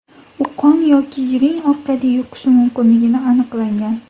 U qon yoki yiring orqali yuqishi mumkinligini aniqlangan.